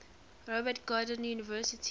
robert gordon university